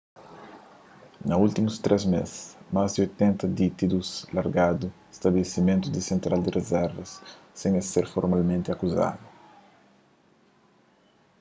na últimus 3 mês más di 80 ditidus largadu stabilisimentu di sentral di rizervas sen es ser folmalmenti akuzadu